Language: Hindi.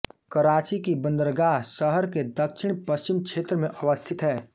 कराची की बंदरगाह शहर के दक्षिण पश्चिमी क्षेत्र में अवस्थित है